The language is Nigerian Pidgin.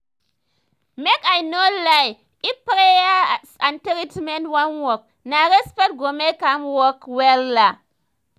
make i no lie if prayers and treatment wan work na respect go make am work wella